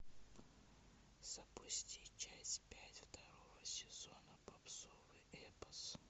запусти часть пять второго сезона попсовый эпос